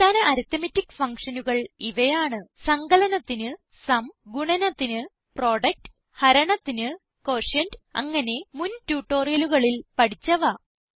അടിസ്ഥാന അരിത്മെറ്റിക് functionനുകൾ ഇവയാണ് സങ്കലനത്തിന് സും ഗുണനത്തിന് പ്രൊഡക്ട് ഹരണത്തിന് ക്യൂട്ടിയന്റ് അങ്ങനെ മുൻ ട്യൂട്ടോറിയലുകളിൽ പഠിച്ചവ